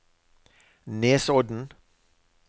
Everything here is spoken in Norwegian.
Nesodden